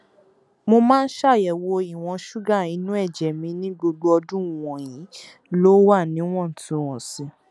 mo máa ń ṣàyẹwò ìwọn ṣúgà inú ẹjẹ mi ní gbogbo ọdún wọnyí ló wà níwọntúnwọnsì